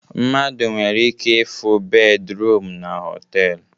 Mmadụ nwere ike ịfụ bed ruum na họtelu